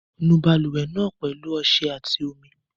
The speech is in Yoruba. Nu balùwẹ̀ náà pẹ̀lú ọṣẹ àti omi.